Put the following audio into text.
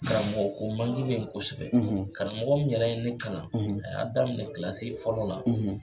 Karamɔgɔ ko bɛ ye kosɛbɛ. karamɔgɔ mun yɛrɛ ye ne kalan, a y'a daminɛ fɔlɔ la